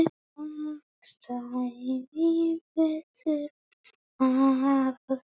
Það stæði betur að vígi.